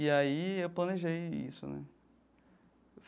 E aí eu planejei isso, né?